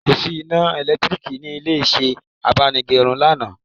Kò sí iná elekitiriki ní ilé isẹ́ abánigẹrun lánàá